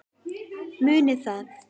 Munið það.